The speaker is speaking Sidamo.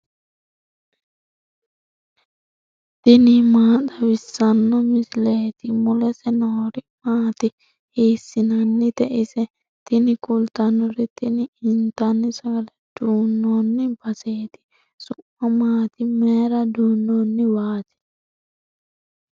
tini maa xawissanno misileeti ? mulese noori maati ? hiissinannite ise ? tini kultannori tini intanni sagale duunnoonni baseeti su'ma maati mayra duunnoonniwaati